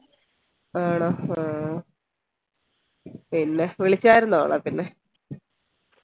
ആണോ ആഹ് പിന്നെ വിളിച്ചായർന്നോ അവളെ പിന്നെ